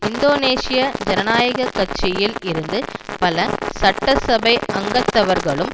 இந்தோனேசிய ஜனநாயக கட்சியில் இருந்து பல சட்டசபை அங்கத்தவர்களும்